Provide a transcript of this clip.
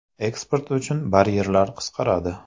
Eksport uchun baryerlar qisqaradi.